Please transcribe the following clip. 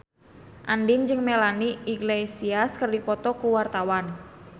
Andien jeung Melanie Iglesias keur dipoto ku wartawan